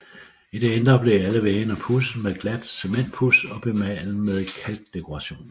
I det indre blev alle væggene pudset med glat cementpuds og bemalet med kalkdekorationer